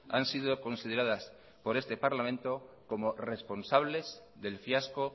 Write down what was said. han sido consideradas por este parlamento como responsables del fiasco